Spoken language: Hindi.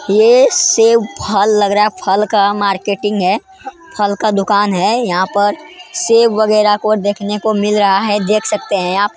यह सेब फल लग रहा है फल का मार्केटिंग है फल का दुकान है यहाँ पर सेब वगैरा को देखने को मिल सकता है देख सकते है आप।